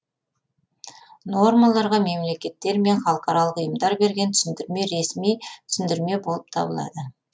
нормаларға мемлекеттер мен халықаралық ұйымдар берген түсіндірме ресми түсіндірме болып табылады